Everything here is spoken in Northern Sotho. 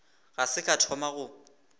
ga se ka thoma go